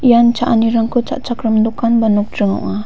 ian cha·anirangko cha·chakram dokan ba nokdring ong·a.